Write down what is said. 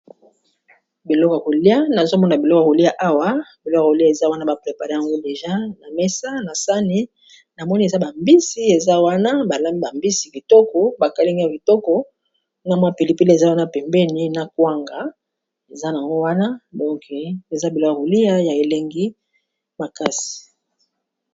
Biloko ya kolia nazomona biloko kolia awa biloko ya kolia eza wana ba prepare ango deja na mesa na sani na moni eza ba mbisi eza wana balambi ba mbisi kitoko ba kalingi yango kitoko na mwa pilipili eza wana pembeni na kwanga eza nango wana donke eza biloko kolia ya elengi makasi.